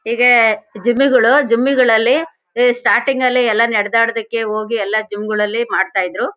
ಈಗ ಜಿಮ್ಮಿ ಗಳು ಜಿಮ್ ಗಳಲ್ಲಿ ಅ ಸ್ಟಾರ್ಟ್ಟಿಂಗ್ ಲ್ಲಿ ಎಲ್ಲಾ ನಡೆದಾಡೋಕ್ಕೆ ಹೋಗಿ ಎಲ್ಲಾ ಜಿಮ್ ಗಳಲ್ಲಿ ಮಾಡ್ತಾ ಇದ್ರು.